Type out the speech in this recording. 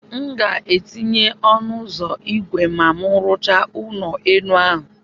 M ga-etinye ọnụ ụzọ ígwè ma m rụchaa ụlọ elu ahụ.